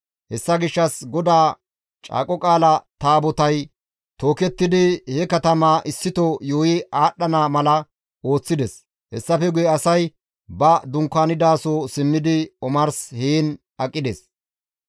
Hessa gishshas GODAA Caaqo Qaala Taabotay tookettidi he katamaa issito yuuyi aadhdhana mala ooththides; hessafe guye asay ba dunkaanidaso simmidi omars heen aqides.